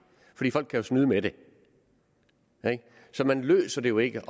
fordi folk jo kan snyde med det så man løser det jo ikke